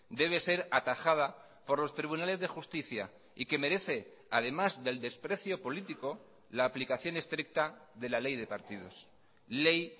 debe ser atajada por los tribunales de justicia y que merece además del desprecio político la aplicación estricta de la ley de partidos ley